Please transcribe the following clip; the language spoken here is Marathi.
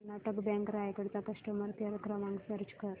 कर्नाटक बँक रायगड चा कस्टमर केअर क्रमांक सर्च कर